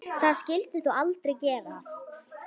Það skyldi þó aldrei gerast?